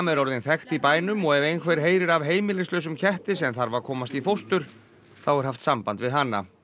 er orðinn þekkt í bænum og ef einhver heyrir af heimilislausum ketti sem þarf að komast í fóstur þá er haft samband við hana